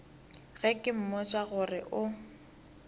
ge ke mmotša gore o